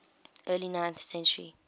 early ninth century